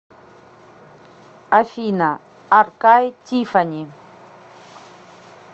афина аркай тиффани